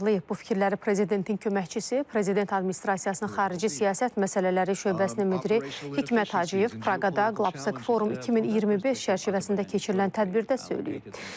Bu fikirləri prezidentin köməkçisi, prezident administrasiyasının xarici siyasət məsələləri şöbəsinin müdiri Hikmət Hacıyev Praqada Qlobsek Forum 2025 çərçivəsində keçirilən tədbirdə söyləyib.